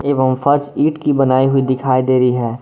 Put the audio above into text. एवं फर्श ईंट की बनाई हुई दिखाई दे रही है।